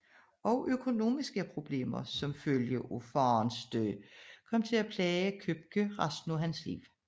Også økonomiske problemer som følge af faderens død kom til at plage Købke resten af hans liv